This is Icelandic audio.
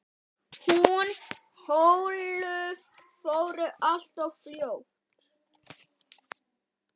Hún Ólöf fór alltof fljótt.